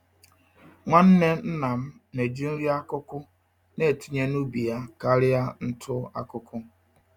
Nwanne nna m na-eji nri-akụkụ n'etinye n'ubi yá karịa ntụ-akụkụ